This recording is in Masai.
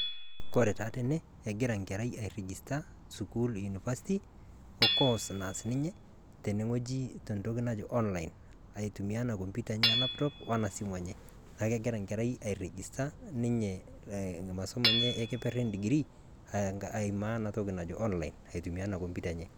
Kore taa tenee egira nkerrai airejista sukuul univasti o koos naas ninye tene ng'oji te ntoki najii online. Aitumia ana kompyuta enye e laptop ona simu enye. Naa kegira nkerrai airejista ninye masomo enye e kepeer e degree aimaa ana ntoki najo online aitumia ana kompyuta enye.